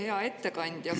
Hea ettekandja!